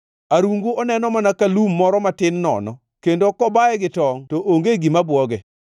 Arungu oneno mana ka lum moro matin nono; kendo kobaye gi tongʼ to onge gima bwoge.